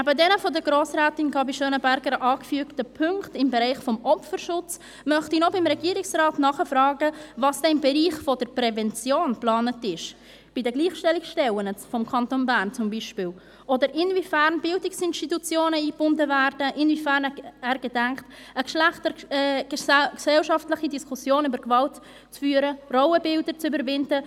Nebst den von Grossrätin Gabi Schönenberger angeführten Punkten im Bereich des Opferschutzes möchte ich noch beim Regierungsrat nachfragen, was denn im Bereich der Prävention geplant ist, zum Beispiel bei den Gleichstellungsstellen des Kantons Bern, oder inwiefern Bildungsinstitutionen eingebunden werden, inwiefern er gedenkt, eine geschlechtergesellschaftliche Diskussion über Gewalt zu führen, Rollenbilder zu überwinden.